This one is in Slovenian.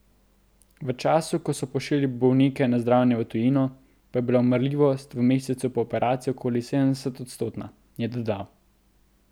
V času, ko so pošiljali bolnike na zdravljenje v tujino, pa je bila umrljivost v mesecu po operaciji okoli sedemodstotna, je dodal.